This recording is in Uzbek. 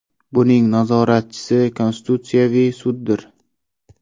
Buning nazoratchisi Konstitutsiyaviy suddir.